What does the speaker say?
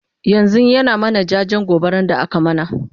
yanzun ya na mana jajen gobaran da aka mana